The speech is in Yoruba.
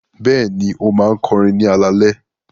Bẹ́ẹ̀ni, ó máa ń kọrin ní alaalẹ́.